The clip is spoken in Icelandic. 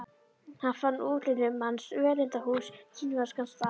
Hann fann útlínur manns, völundarhús, kínverskan staf.